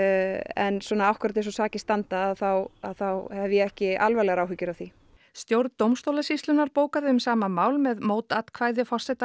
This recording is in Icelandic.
en svona akkúrat eins og sakir standa að þá að þá hef ég ekki alvarlegar áhyggjur af því stjórn dómstólasýslunnar bókaði um sama mál með mótatkvæði forseta